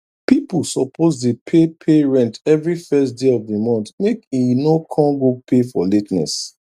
pipu suppose dey pay pay rent everi first day of d month make e no kon go pay for la ten ess